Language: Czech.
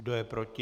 Kdo je proti?